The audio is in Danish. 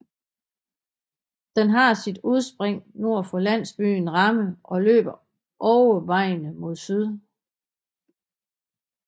Den har sit udspring nord for landsbyen Ramme og løber overvejende mod syd